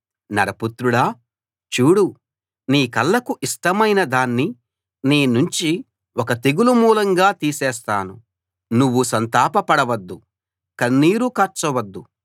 నరపుత్రుడా చూడు నీ కళ్ళకు ఇష్టమైన దాన్ని నీ నుంచి ఒక్క తెగులు మూలంగా తీసేస్తాను నువ్వు సంతాప పడవద్దు కన్నీరు కార్చ వద్దు